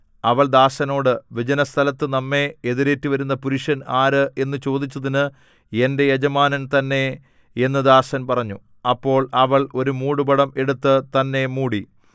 അവൾ ദാസനോട് വിജനസ്ഥലത്തു നമ്മെ എതിരേറ്റു വരുന്ന പുരുഷൻ ആര് എന്നു ചോദിച്ചതിന് എന്റെ യജമാനൻ തന്നെ എന്നു ദാസൻ പറഞ്ഞു അപ്പോൾ അവൾ ഒരു മൂടുപടം എടുത്തു തന്നെ മൂടി